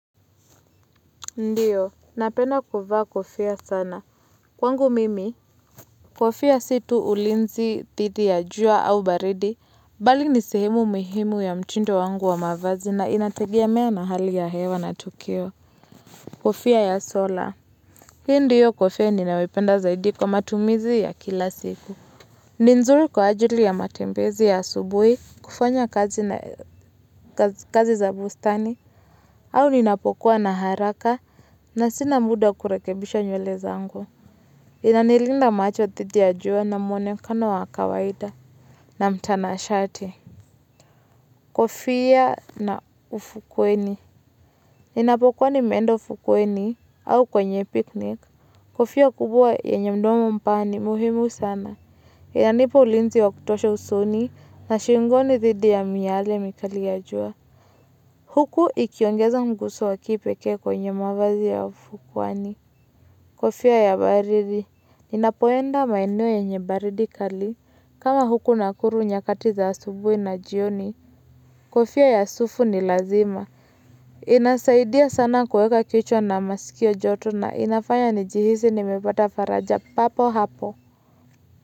Ndiyo, napenda kuvaa kofia sana. Kwangu mimi, kofia sio tu ulinzi, dhidi ya jua au baridi. Bali ni sehemu mihimu ya mtindo wangu wa mavazi na inategemea na hali ya hewa na tukio. Kofia ya sola. Hii ndiyo kofia ninaoipenda zaidi kwa matumizi ya kila siku. Ni nzuri kwa ajili ya matembezi ya asubuhi kufanya kazi za bustani au ninapokuwa na haraka. Na sina muda wa kurekebisha nywele zangu. Inanilinda macho dhidi ya jua na mwonekano wa kawaida. Na mtanashati. Kofia na ufukweni. Inapokwa nimeeenda ufukweni au kwenye picnic. Kofia kubwa yenye mdomo mpana ni muhimu sana. Inanipa ulinzi wa kutosha usoni na shingoni dhidi ya miale mikali ya jua. Huku ikiongeza mguzo wa kipekee kwenye mavazi ya ufukwani. Kofia ya baridi, ninapoenda maeneo yenye baridi kali. Kama huku nakuru nyakati za asubuhi na jioni, kofia ya asufu ni lazima. Inasaidia sana kuweka kichwa na masikio joto na inafanya nijihisi nimepata faraja papo hapo.